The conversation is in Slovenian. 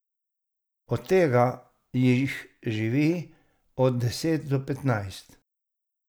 Od tega jih živi od deset do petnajst.